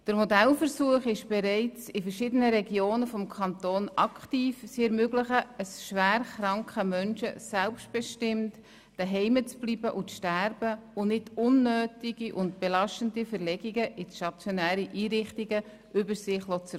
Der Modellversuch wurde bereits in verschiedenen Regionen des Kantons aktiv durchgeführt und ermöglicht schwer kranken Menschen selbstbestimmt zu Hause zu bleiben und dort zu sterben, statt unnötige Belastungen durch Verlegungen in stationäre Einrichtungen über sich ergehen zu lassen.